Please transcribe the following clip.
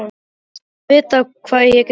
Láttu vita hvað ég get gert.